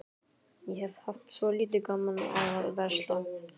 Ég hef alltaf haft svolítið gaman af að versla.